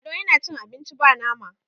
lado yana cin abinci ba nama